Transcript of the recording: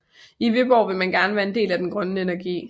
I Viborg ville man gerne være del af den grønne energi